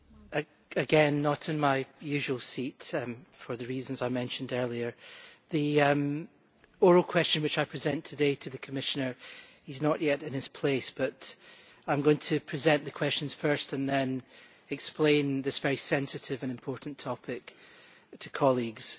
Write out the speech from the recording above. Madam President, again I am not in my usual seat for the reasons I mentioned earlier. The oral question which I present today to the Commissioner he is not yet in his place but I am going to present the questions first and then explain this very sensitive and important topic to colleagues.